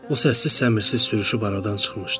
O səssiz-səmirsiz sürüşüb aradan çıxmışdı.